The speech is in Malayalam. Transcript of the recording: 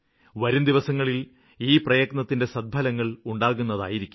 വരുംദിനങ്ങളില് ഈ പ്രയത്നത്തിന്റെ സദ്ഫലങ്ങള് ഉണ്ടാകുന്നതായിരിക്കും